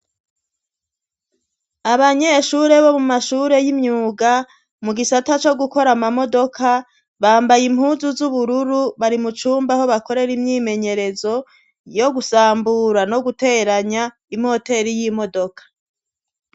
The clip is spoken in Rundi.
Abanyeshure bo mu mashure y'imyuga, mu gisata co gukora ama modoka bambaye impunzu z'ubururu, bari mu cumba aho bakorera imyimenyerezo yo gusambura no guteranya imoteri y'imodoka